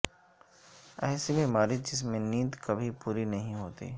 ایسی بیماری جس میں نیند کبھی پوری نہیں ہوتی